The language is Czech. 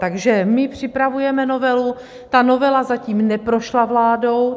Takže my připravujeme novelu, ta novela zatím neprošla vládou.